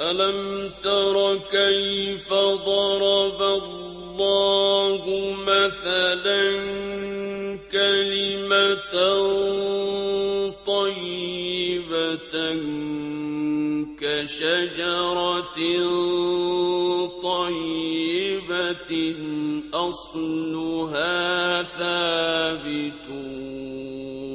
أَلَمْ تَرَ كَيْفَ ضَرَبَ اللَّهُ مَثَلًا كَلِمَةً طَيِّبَةً كَشَجَرَةٍ طَيِّبَةٍ أَصْلُهَا ثَابِتٌ